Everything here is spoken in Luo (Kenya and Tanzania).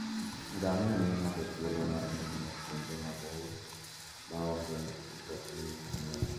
Ngamia miyo ng'ato thuolo mar ng'iyo kuonde maboyo ma onge mtokni mang'eny.